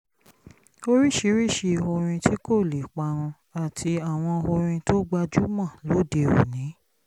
oríṣiríṣi orin tí kò lè parun àti àwọn orin tó gbajúmọ̀ lóde òní